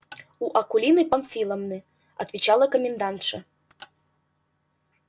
у акулины памфиловны отвечала комендантша